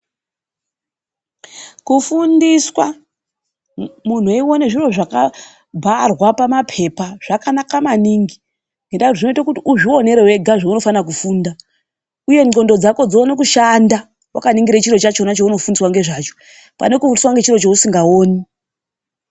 Kufundiswa muntu weione zviro zvakabharwa pamapepa zvakanaka maningi. Nendaa yekuti zvinoita kuti uzvionere wega zvunofana kufunda. Uye ndxondo dzako dzione kushanda wakaningire chiro chacho chaunofundiswa ngezvacho, pane kufundiswa ngechiro chausingawoni.